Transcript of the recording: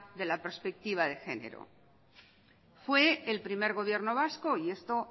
de la perspectiva de genero fue el primer gobierno vasco y esto